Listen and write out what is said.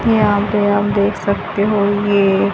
यहां पे आप देख सकते हो ये--